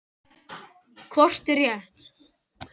Hvort er rétt?